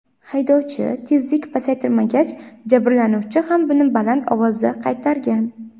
Haydovchi tezlikni pasaytirmagach, jabrlanuvchi ham buni baland ovozda qaytargan.